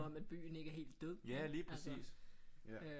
At byen ikke er helt død altså